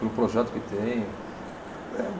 Pelo projeto que tem. É